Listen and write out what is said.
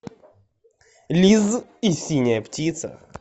лиз и синяя птица